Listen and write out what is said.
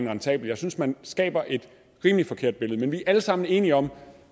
rentable jeg synes at man skaber et rimelig forkert billede man vi er alle sammen enige om